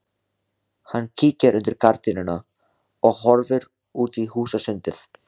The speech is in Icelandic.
Hann kíkir undir gardínuna og horfir út í húsasundið.